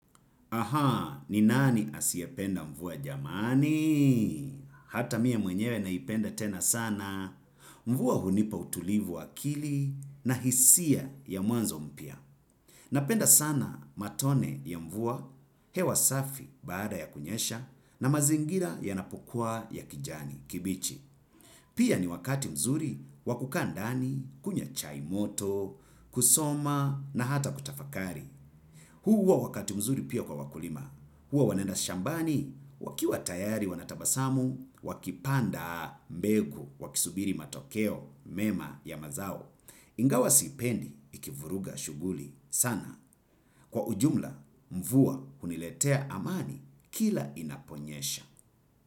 Ahaa, ni nani asiependa mvua jamani? Hata mie mwenyewe naipenda tena sana. Mvua hunipa utulivu akili na hisia ya mwanzo mpia. Napenda sana matone ya mvua hewa safi baada ya kunyesha na mazingira yanapokuwa ya kijani kibichi. Pia ni wakati mzuri wa kukaa ndani, kunywa chai moto, kusoma na hata kutafakari. Huu huwa wakati mzuri pia kwa wakulima huwa wanaenda shambani wakiwa tayari wanatabasamu wakipanda mbegu wakisubiri matokeo mema ya mazao ingawa sipendi ikivuruga shuguli sana. Kwa ujumla, mvua huniletea amani kila inaponyesha.